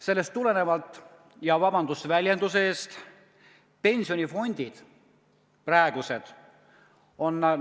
Sellest tulenevalt on praegused pensionifondid – vabandust väljenduse eest!